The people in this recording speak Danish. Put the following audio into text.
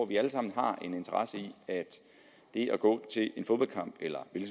vi alle sammen har en interesse i at det at gå til en fodboldkamp eller en